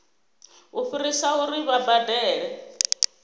u fhirisa uri vha badele